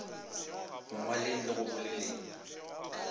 go ngwaleng le go boleleng